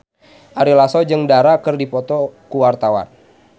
Ari Lasso jeung Dara keur dipoto ku wartawan